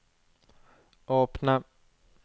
åpne